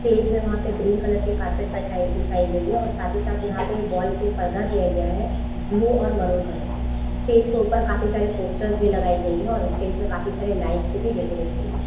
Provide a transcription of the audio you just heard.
Stage में वहाँ पर ग्रीन कलर की कार्पेट बैठइ-बिछाई गयी है और साथ ही साथ यहाँ पे वॉल पे पर्दा दिया गया है ब्लू और मेहरून कलर के स्टेज के ऊपर काफी सारे पोस्टर भी लगाए गए हैं और स्टेज पे काफी सारे लाइट से भी डेकोरेट की गयी है।